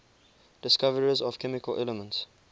discoverers of chemical elements